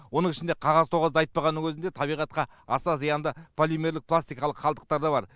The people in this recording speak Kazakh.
оның ішінде қағаз тоғазды айтпағанның өзінде табиғатқа аса зиянды полимерлерлік пластикалық қалдықтар да бар